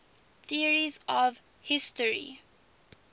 theories of history